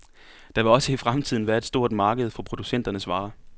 Der vil også i fremtiden være et stort marked for producenternes varer.